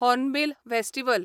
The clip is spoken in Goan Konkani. hornbill festival